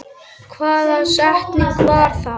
Hvaða setning var það?